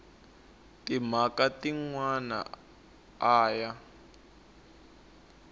timhaka tin wana a ya